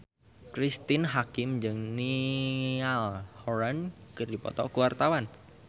Cristine Hakim jeung Niall Horran keur dipoto ku wartawan